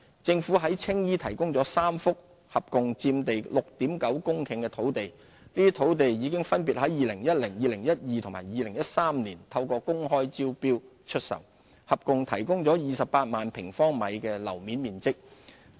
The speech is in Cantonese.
政府在青衣提供了3幅共佔地約 6.9 公頃的土地，這些土地已於2010年、2012年及2013年透過公開招標出售，合共提供約28萬平方米的樓面面積。